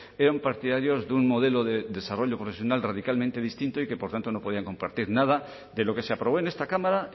eran partidarios de un modelo de desarrollo profesional radicalmente distinto y que por tanto no podían compartir nada de lo que se aprobó en esta cámara